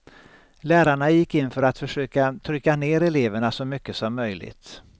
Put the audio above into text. Lärarna gick in för att försöka trycka ner eleverna så mycket som möjligt.